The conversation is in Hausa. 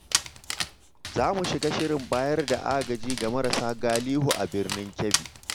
Za mu shiga shirin bayar da agaji ga marasa galihu a Birnin Kebbi.